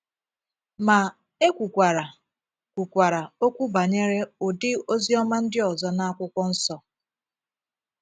Ma, e kwukwara kwukwara okwu banyere ụdị “ ozi ọma ” ndị ọzọ n'akwụkwọ nsọ.